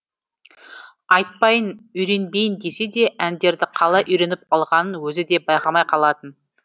айтпайын үйренбейін десе де әндерді қалай үйреніп алғанын өзі де байқамай қалатын